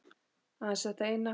Aðeins þetta eina